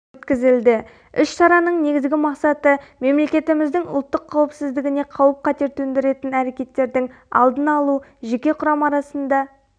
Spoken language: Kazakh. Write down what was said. өткізілді іс-шараның негізгі мақсаты мемлекетіміздің ұлттық қауіпсіздігіне қауіп-қатер төндіретін әрекеттердің алдын алу жеке құрам арасында